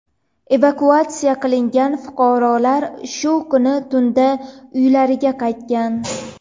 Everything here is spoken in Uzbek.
Evakuatsiya qilingan fuqarolar shu kuni tunda uylariga qaytgan.